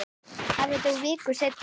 Afi dó viku seinna.